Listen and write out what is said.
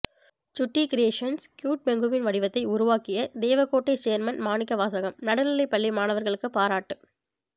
சுட்டி creations cute penguin வடிவத்தை உருவாக்கிய தேவகோட்டை சேர்மன் மாணிக்க வாசகம் நடுநிலைப் பள்ளி மாணவர்களுக்கு பாராட்டு